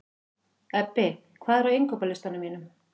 Ebbi, hvað er á innkaupalistanum mínum?